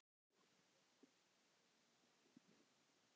Við elskum þig, mín kæra.